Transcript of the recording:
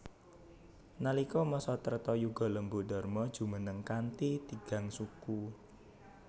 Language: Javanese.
Nalika masa Treta Yuga Lembu Dharma jumeneng kanthi tigang suku